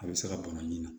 A bɛ se ka bana nin na